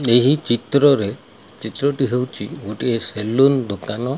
ଏହି ଚିତ୍ରରେ ଚିତ୍ରଟି ହେଉଚି ଗୋଟିଏ ସେଲୁନ ଦୋକାନ।